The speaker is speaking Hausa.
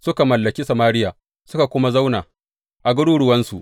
Suka mallaki Samariya suka kuma zauna a garuruwansu.